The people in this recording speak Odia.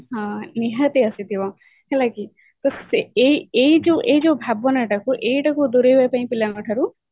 ହଁ ନିହାତି ଆସିଥିବ ନୁହେଁ କି ତ ଏଇ ଯୋଉ ଏଇ ଯୋଉ ଏଇ ଯୋଉ ଭାବନାଟାକୁ ଏଇଟାକୁ ଦୂରେଇବା ପାଇଁ ପିଲାଙ୍କ ଠାରୁ